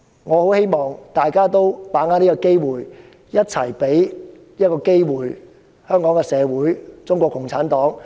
我很希望大家把握這個機會，一起給予香港社會和中共一個機會。